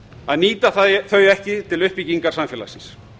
að nýta þau ekki til uppbyggingar samfélagsins